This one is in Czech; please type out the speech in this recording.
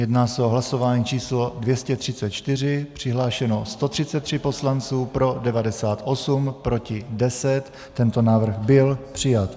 Jedná se o hlasování číslo 234, přihlášeno 133 poslanců, pro 98, proti 10, tento návrh byl přijat.